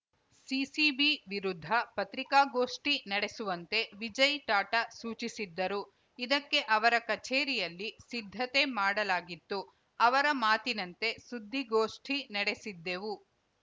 CCB ವಿರುದ್ಧ ಪತ್ರಿಕಾಗೋಷ್ಠಿ ನಡೆಸುವಂತೆ ವಿಜಯ್‌ ಟಾಟಾ ಸೂಚಿಸಿದ್ದರು ಇದಕ್ಕೆ ಅವರ ಕಚೇರಿಯಲ್ಲಿ ಸಿದ್ಧತೆ ಮಾಡಲಾಗಿತ್ತು ಅವರ ಮಾತಿನಂತೆ ಸುದ್ದಿಗೋಷ್ಠಿ ನಡೆಸಿದ್ದೆವು